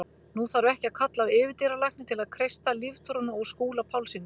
Nú þarf ekki að kalla á yfirdýralækni til að kreista líftóruna úr Skúla Pálssyni.